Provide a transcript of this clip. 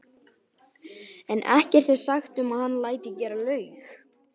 en ekkert er sagt um að hann léti gera laug.